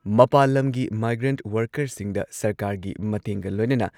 ꯃꯄꯥꯟ ꯂꯝꯒꯤ ꯃꯥꯏꯒ꯭ꯔꯦꯟꯠ ꯋꯔꯀꯔꯁꯤꯡꯗ ꯁꯔꯀꯥꯔꯒꯤ ꯃꯇꯦꯡꯒ ꯂꯣꯢꯅꯅ